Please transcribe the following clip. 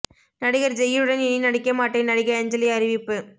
நடிகர் ஜெய்யுடன் இனி நடிக்க மாட்டேன் நடிகை அஞ்சலி அறிவிப்பு